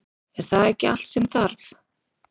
Er það ekki allt sem þarf?